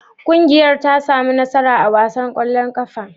Ƙungiyar ta sami nasara a wasan ƙwallon ƙafar?